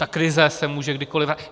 Ta krize se může kdykoli...